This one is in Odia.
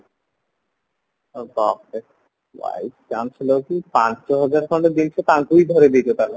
ଓହୋ vice chancellorଙ୍କୁ ପାଞ୍ଚ ହଜାର ଖଣ୍ଡ ଦେଇଚ ତାଙ୍କୁ ବି ଧରେଇଦେଇଚ ତାହାହେଲେ